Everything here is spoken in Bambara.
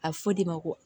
A bɛ fɔ o de ma ko